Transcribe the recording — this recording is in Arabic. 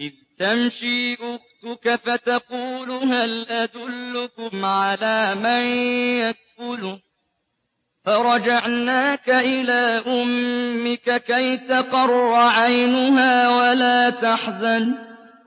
إِذْ تَمْشِي أُخْتُكَ فَتَقُولُ هَلْ أَدُلُّكُمْ عَلَىٰ مَن يَكْفُلُهُ ۖ فَرَجَعْنَاكَ إِلَىٰ أُمِّكَ كَيْ تَقَرَّ عَيْنُهَا وَلَا تَحْزَنَ ۚ